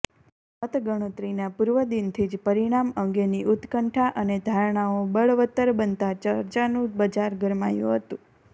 મત ગણતરીના પૂર્વદિનથી જ પરિણામ અંગેની ઉત્કંઠા અને ધારણાઓ બળવતર બનતા ચર્ચાનું બજાર ગરમાયું હતું